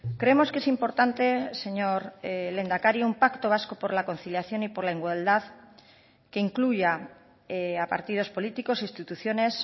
creemos que es importante señor lehendakari un pacto vasco por la conciliación y por la igualdad que incluya a partidos políticos instituciones